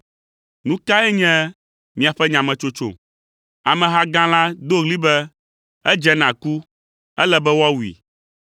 Nu kae nye miaƒe nyametsotso?” Ameha gã la do ɣli be, “Edze na ku, ele be woawui!”